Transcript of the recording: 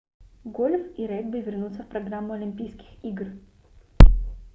гольф и регби вернутся в программу олимпийских игр